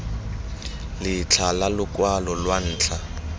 letlha la lokwalo lwa ntlha